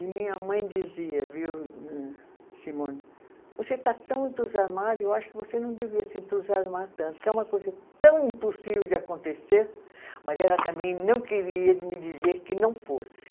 E minha mãe dizia, viu, Simone, você está tão entusiasmada, eu acho que você não devia se entusiasmar tanto, que é uma coisa tão impossível de acontecer, mas ela também não queria me dizer que não fosse.